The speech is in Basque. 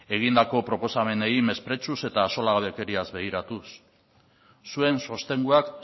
egindako proposamenei mesprezuz eta axolagabekeriaz begiratuz zuen sostenguak